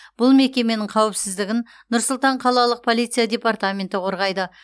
бұл мекеменің қауіпсіздігін нұр сұлтан қалалық полиция департаменті қорғайды